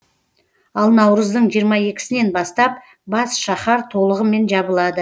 ал наурыздың жиырма екісінен бастап бас шаһар толығымен жабылады